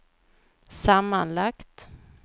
sammanlagt